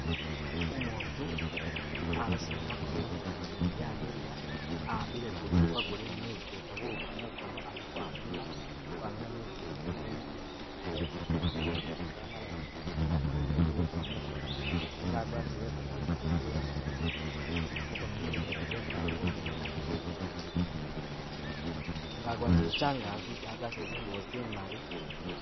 Umutu abesema makono, makono gene gamiliya, a'ambile guchupa gulimo mezi geta buwuka mukono ali kamina, kamina kametsi gene ga'ze mu mu chigalabo chekumugono munyelezi amala eyake ete buwuka mukono nenga agwatile mpeta mumukono gwee.. mukono munyelezi kwesi ali kuminila nga agwatile changazi agwatile zingubo zimali